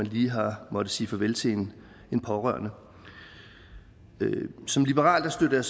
lige har måttet sige farvel til en pårørende som liberal støtter